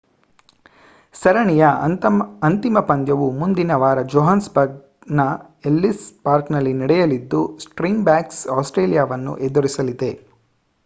ಸರಣಿಯ ಅಂತಿಮ ಪಂದ್ಯವು ಮುಂದಿನ ವಾರ ಜೋಹಾನ್ಸ್‌ಬರ್ಗ್‌ನ ಎಲ್ಲಿಸ್ ಪಾರ್ಕ್‌ನಲ್ಲಿ ನಡೆಯಲಿದ್ದು ಸ್ಪ್ರಿಂಗ್‌ಬಾಕ್ಸ್ ಆಸ್ಟ್ರೇಲಿಯಾವನ್ನು ಎದುರಿಸಲಿದೆ